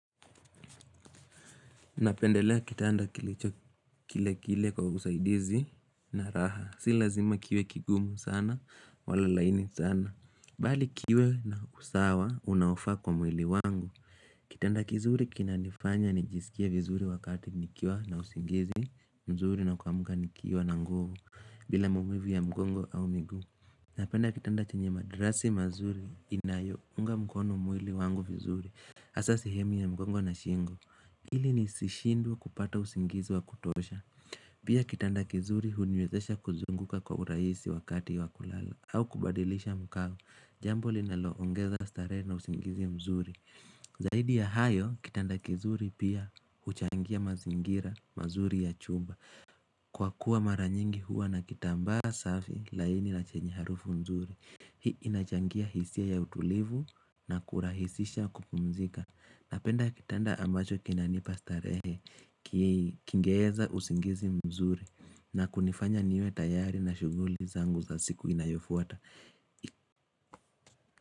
Napendelea kitanda kilicho kile kile kwa usaidizi na raha, si lazima kiwe kigumu sana wala laini sana Bali kiwe na usawa unaofaa kwa mwili wangu Kitanda kizuri kinanifanya nijisikie vizuri wakati nikiwa na usingizi mzuri na kuamka nikiwa na nguvu bila maumivu ya mgongo au miguu Napenda kitanda chenye madrasi mazuri inayo unga mkono mwili wangu vizuri hasa sihemu ya mgongo na shingo Hili nisishindwe kupata usingizi wa kutosha Pia kitanda kizuri huniwezesha kuzunguka kwa urahisi wakati wa kulala au kubadilisha mkao Jambo linaloongeza starehe na usingizi mzuri Zaidi ya hayo kitanda kizuri pia huchangia mazingira mazuri ya chumba Kwa kuwa maranyingi huwa na kitambaa safi laini na chenye harufu mzuri Hii inachangia hisia ya utulivu na kurahisisha kupumzika Napenda kitanda ambacho kinanipa starehe kingeeza usingizi mzuri na kunifanya niwe tayari na shuguli zangu za siku inayofuata.